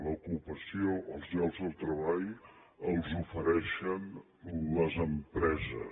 l’ocupació els llocs del treball els ofereixen les empreses